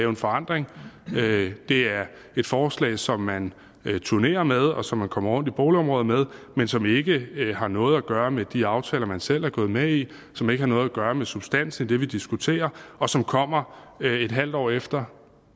en forandring det er et forslag som man turnerer med og som man kommer rundt i boligområderne med men som ikke har noget at gøre med de aftaler man selv er gået med i som ikke har noget at gøre med substansen i det vi diskuterer og som kommer et halvt år efter